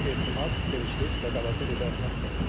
Bu etimad, sevicilik və qabacıl idarəetmə sistemidir.